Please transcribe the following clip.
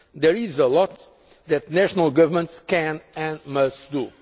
There is a lot that national governments can and must